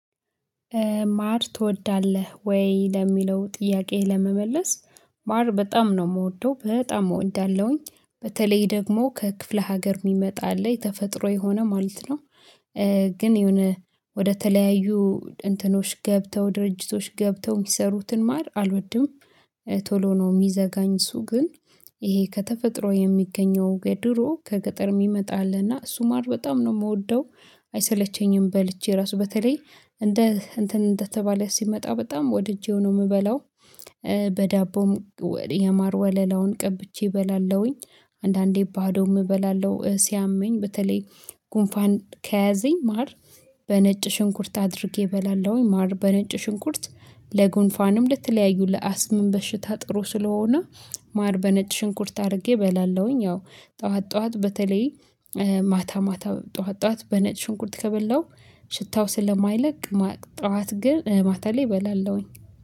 ማር ትወዳለህ ወይ? ለሚለው ጥያቄህ ለመመለስ ማር በጣም ነው የምወደው በጣም እወዳለው አለኝ በተለይ ደግሞ ከክፍለ ሀገር የሚመጣ አለ የተፈጥሮ የሆነ ማለት ነው። ግን የሆነ ወደ ተለያዩ እንትኖች ገብተው ድርጅቶች ገብተው የሚሰሩትን ማር አልወድም። ቶሎ ነው የሚዘጋኝ እሱ ግን። ይሄ ከተፈጥሮ የሚገኘው ገድሮ ከገጠር የሚመጣ አለና እሱ ማር በጣም ነው የምወደው። አይሰለቸኝም በልቼ ራሱ በተለይ እንደ እንትን እንደተባለ ሲመጣ በጣም ወድጄው ነው የምበላው። በዳቦም የማር ወለላውን ቀብቼ እበላለሁኝ አንዳንዴ ባዶም እበላለሁ። ሲያመኝ በተለይ ጉንፋን ከያዘኝ ማር በነጭ ሽንኩርት አድርጌ እበላለሁኝ። ማር በነጭ ሽንኩርት ለጉንፋንም ለተለያዩ ለአስምም በሽታ ጥሩ ስለሆነ። ማር በነጭ ሽንኩርት አድርጌ እበላለሁኝ። ያው ጠዋት ጠዋት በተለይ ማታ ማታ ጠዋት ጠዋት በነጭ ሽንኩርት ከበላው ሽታው ስለማይለቅ ማታ ጠዋት ግን ማታ ላይ እበላለሁኝ።